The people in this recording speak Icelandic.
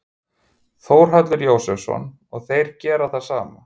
Þórhallur Jósefsson: Og þeir gera það sama?